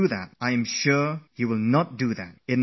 I am sure you won't do anything like that